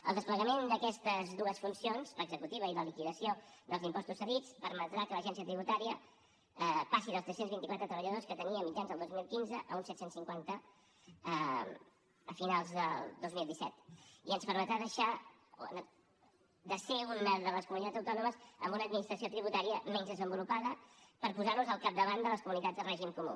el desplegament d’aquestes dues funcions l’executiva i la liquidació dels impostos cedits permetrà que l’agència tributària passi dels tres cents i vint quatre treballadors que tenia a mitjan del dos mil quinze a uns set cents i cinquanta a finals del dos mil disset i ens permetrà deixar de ser una de les comunitats autònomes amb una administració tributària menys desenvolupada per posar nos al capdavant de les comunitats de règim comú